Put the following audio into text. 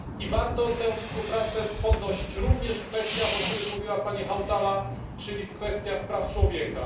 Warto tę współpracę wzmacniać również w kwestiach, o których mówiła pani Hautala, czyli w kwestiach praw człowieka.